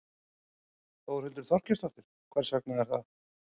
Þórhildur Þorkelsdóttir: Hvers vegna er það?